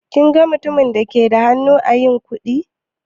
Kin ga mutumin da ke da hannu ã yin kuɗi?